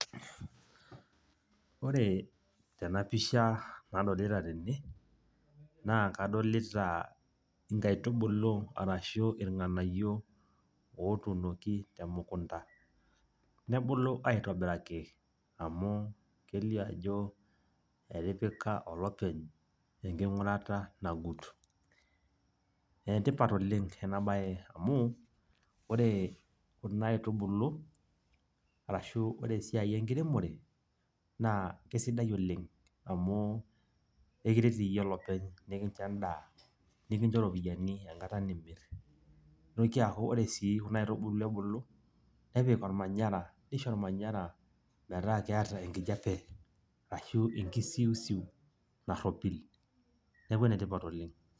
ore tena pisha nadolita tene naa kadolita nkaitubulu arashu irnganyio otuunoki te mukunta nebulu aitobiraki amu kelioo ajo etipika olopeny enkingurat nagut enetipat ena bae amu ore kuna aitubulu arashu ore esiai enkiremore naa kisidai oleng amu ekincho iyie edaa ashu ore esiiai enkiremore esidai oleng amu ekiret iyie olopeny nikincho edaa, nikincho iropiyiani enkata nimir. nitoki aaku ore sii kuna aitubulu ebulu nisho olmanyara ametaa kiata enkkijiape ashu enkisus naropil. neeku ene tipat oleng.